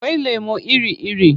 Akwai lemo iri-iri.